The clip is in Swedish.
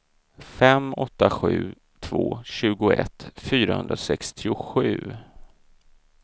fem åtta sju två tjugoett fyrahundrasextiosju